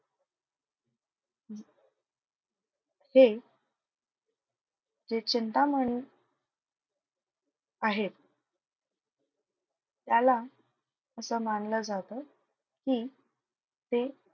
हे हे चिंतामणी आहेत. त्याला असं मानलं जातं की ते,